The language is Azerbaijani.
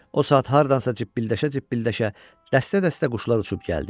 O saat hardansa cib-cibilləşə-cibilləşə dəstə-dəstə quşlar uçub gəldi.